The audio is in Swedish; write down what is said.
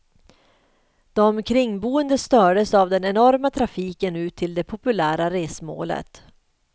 De kringboende stördes av den enorma trafiken ut till det populära resmålet.